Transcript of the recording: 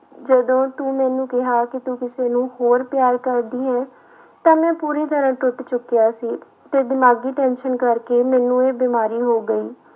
ਜਦੋਂ ਤੂੰ ਮੈਨੂੰ ਕਿਹਾ ਕਿ ਤੂੰ ਕਿਸੇ ਨੂੰ ਹੋਰ ਪਿਆਰ ਕਰਦੀ ਹੈ ਤਾਂ ਮੈਂ ਪੂਰੀ ਤਰ੍ਹਾਂ ਟੁੱਟ ਚੁੱਕਿਆ ਸੀ ਤੇ ਦਿਮਾਗੀ tension ਕਰਕੇ ਮੈਨੂੰ ਇਹ ਬਿਮਾਰੀ ਹੋ ਗਈ।